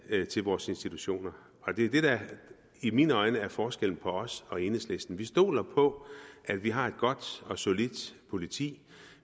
til vores institutioner og det er det der i mine øjne er forskellen på os og enhedslisten vi stoler på at vi har et godt og solidt politi